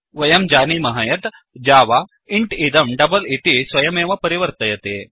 वयं जानीमः यत् जावा इन्ट् इदं डबल इति स्वयमेव परिवर्तयति